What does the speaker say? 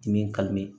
Dimi